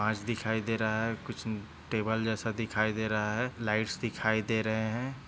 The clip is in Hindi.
काँच दिखाई दे रहा है कुछ टेबल जैसा दिखाई दे रहा है लाइट्स दिखाई दे रहे है।